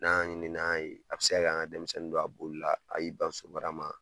N'an ɲini n'an ye, a be se ka kɛ an' ŋa denmisɛnnin don a bolila, a y'i ban so baara ma